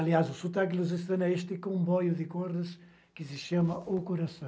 Aliás, o sotaque lusitano é este comboio de cordas que se chama O Coração.